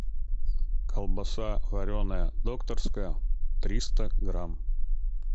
колбаса вареная докторская триста грамм